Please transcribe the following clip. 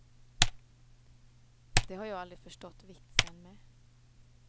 Det har jag aldrig förstått vitsen med.